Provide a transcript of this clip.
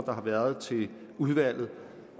der har været til udvalget